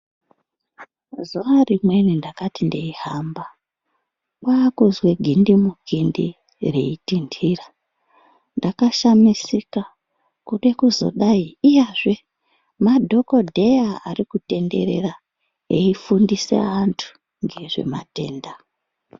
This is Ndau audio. Zuwa rimweni ndakati ndeihamba, kwaakuzwe gindi mukindi reitinntira. Ndakashamisika ,kude kuzodai iyazve madhokodheya ari kutenderera eifundise antu, ngezvematenda.